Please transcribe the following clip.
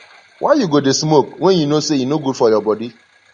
why you go dey smoke wen you know say e no good for your body